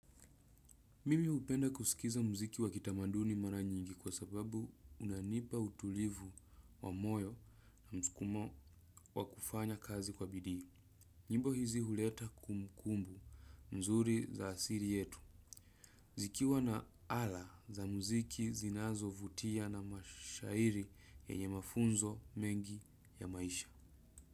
Mimi hupenda kusikiza muziki wa kitamanduni mara nyingi kwa sababu unanipa utulivu wa moyo na mskumo wa kufanya kazi kwa bidii. Nyimbo hizi huleta kumbukumbu nzuri za asili yetu. Zikiwa na ala za muziki zinazovutia na mashairi yenye mafunzo mengi ya maisha.